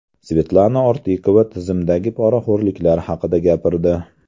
Svetlana Ortiqova tizimdagi poraxo‘rliklar haqida gapirdi.